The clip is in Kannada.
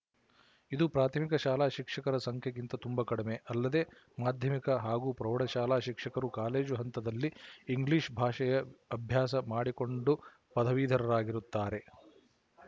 ಇದು ಪ್ರಾಥಮಿಕ ಶಾಲಾ ಶಿಕ್ಷಕರ ಸಂಖ್ಯೆಗಿಂತ ತುಂಬ ಕಡಿಮೆ ಅಲ್ಲದೆ ಮಾಧ್ಯಮಿಕ ಹಾಗೂ ಪ್ರೌಢಶಾಲಾ ಶಿಕ್ಷಕರು ಕಾಲೇಜು ಹಂತದಲ್ಲಿ ಇಂಗ್ಲಿಶ ಭಾಷೆಯ ಅಭ್ಯಾಸ ಮಾಡಿಕೊಂಡು ಪದವೀಧರರಾಗಿರುತ್ತಾರೆ